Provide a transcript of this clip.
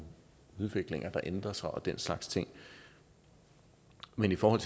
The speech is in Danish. udviklinger der ændrer sig og den slags ting men i forhold